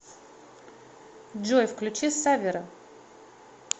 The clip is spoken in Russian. джой включи саввера